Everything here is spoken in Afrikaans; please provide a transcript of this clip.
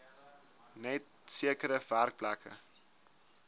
net sekere werkplekke